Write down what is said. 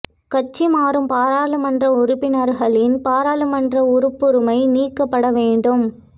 கட்சி மாறும் பாராளுமன்ற உறுப்பினர்களின் பாராளுமன்ற உறுப்புரிமை நீக்கப்பட வேண்டும்